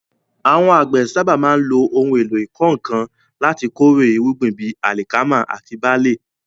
Àwọn àgbẹ̀ sábà máa ń lo ohun èlò ìkọ́ nǹkan láti kórè irúgbìn bíi alikama àti barle.